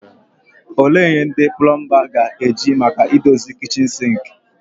Olee ihe ndị plomba ga-eji maka idozi kichin sinki?